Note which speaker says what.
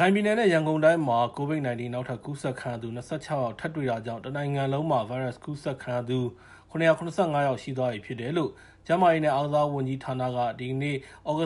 Speaker 1: ခိုင်ပြည်နယ်နဲ့ ရန်ကုန်တိုင်းမှာ COVID-19 နောက်ထပ် ကူးစက်သူခံရသူ ၂၆ ယောက် ထပ်တွေ့တာကြောင့် တနိုင်ငံလုံးမှာ ဗိုင်းရပ်စ်ကူးစက်ခံရသူ ၇၇၅ ယောက် ရှိသွားပြီဖြစ်တယ်လို့ ကျန်းမာရေးနဲ့ အားကစားဝန်ကြီးဌာနက ဒီနေ့ည ၈